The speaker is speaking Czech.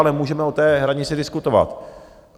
Ale můžeme o té hranici diskutovat.